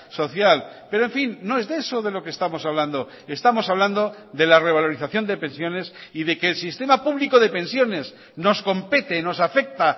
social pero en fin no es de eso de lo que estamos hablando estamos hablando de la revalorización de pensiones y de que el sistema público de pensiones nos compete nos afecta